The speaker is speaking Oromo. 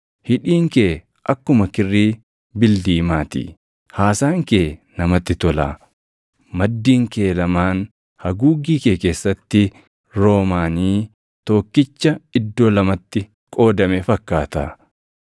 Hidhiin kee akkuma kirrii bildiimaa ti; haasaan kee namatti tola. Maddiin kee lamaan haguuggii kee keessatti roomaanii tokkicha iddoo lamatti qoodame fakkaata.